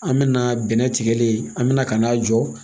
An bɛna bɛnɛ tigɛlen an bɛna ka n'a jɔ